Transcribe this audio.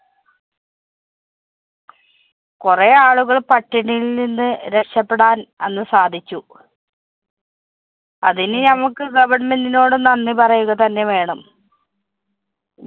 കൊറേ ആളുകള്‍ പട്ടിണിയില്‍ നിന്ന് രക്ഷപ്പെടാന്‍ അന്ന് സാധിച്ചു. അതിന് ഞമ്മക്ക് government നോട് നന്ദി പറയുക തന്നെ വേണം.